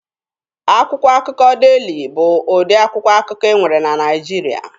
Akwụkwọ akụkọ Deeli bụ ụdị akwụkwọ akụkọ e nwere na Naịjirịa.